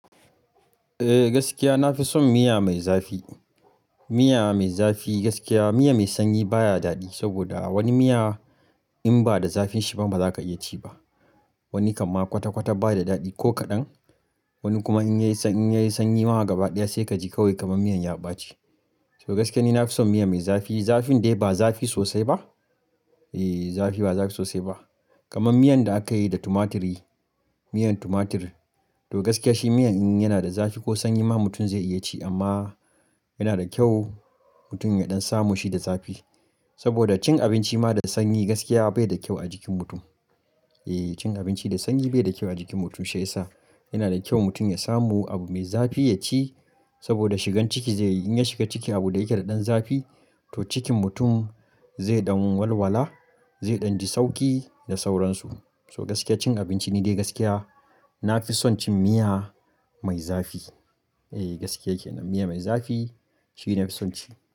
Eh gaskiya na fi son miya mai zafi. Miya mai zafi gaskiya miya mai sanyi baya daɗi saboda wani miya in ba da zafin shi ba baza ka iya ci ba. Wani kan ma kwata kwata baya daɗi ko kaɗan. Wani kuma in ya yi in ya yi sanyi ma gaba ɗaya sai kaji kawai kamar miyan yaba ce. To gaskiya ni na fi son miya mai zafi. Zafin dai ba zafi sosai ba. Eh zafi ba zafi sosai ba. Kaman miyan da aka yi da tumatiri, miyan tumatir. To gaskiya shi miyan in yana da zafi ko sanyi ma mutum zai iya ci amma yana da kyau mutum ya ɗan samu shi da zafi. Saboda cin abinci ma da sanyi gaskiya bai da kyau a jikin mutum. Eh cin abinci da sanyi bai da kyau a jikin mutum shiyasa yana da kyau mutum ya samu abu mai zafi ya ci saboda shigan ciki zai in ya shiga ciki abu da yake da ɗan zafi to cikin mutum zai ɗan walwala, zai ɗan ji sauki da sauransu. So gaskiya cin abinci ni dai gaskiya na fi son cin miya mai zafi. Eh gaskiya yake nan miya mai zafi shi ne na fi son ci.